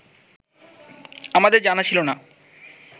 আমাদের জানা ছিল না